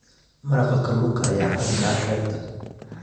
Maraqa kalluunka ayaa caan ka ah xeebta.